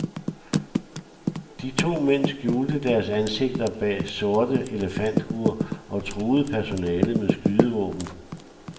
De to mænd skjulte deres ansigter bag sorte elefanthuer og truede personalet med skydevåben.